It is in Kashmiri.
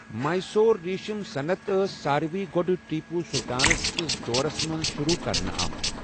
میسور ریٖشٕم صنعت ٲس ساروِی گۄڈٕ ٹیپو سلطانس کِس دورس منٛز شروٗع كرنہٕ آمژ ۔